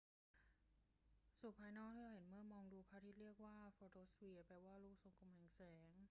ส่วนภายนอกที่เราเห็นเมื่อมองดูพระอาทิตย์เรียกว่าโฟโตสเฟียร์ แปลว่า ลูกทรงกลมแห่งแสง